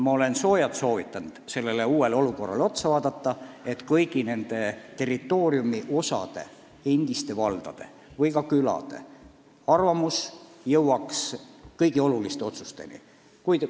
Ma olen soojalt soovitanud uuele olukorrale otsa vaadata, et kõigi territooriumiosade, endiste valdade ja ka külade arvamus oleks teada kõigi oluliste otsuste tegemisel.